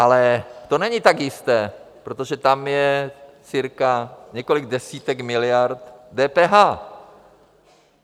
Ale to není tak jisté, protože tam je cirka několik desítek miliard DPH.